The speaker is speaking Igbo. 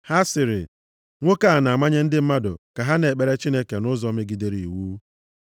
Ha sịrị, “Nwoke a na-amanye ndị mmadụ ka ha na-ekpere Chineke nʼụzọ megidere iwu.”